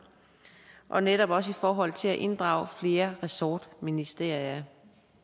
og netop også i forhold til at inddrage flere ressortministerier